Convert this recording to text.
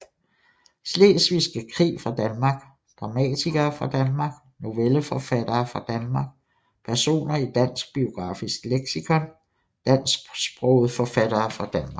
Slesvigske Krig fra Danmark Dramatikere fra Danmark Novelleforfattere fra Danmark Personer i Dansk Biografisk Leksikon Dansksprogede forfattere fra Danmark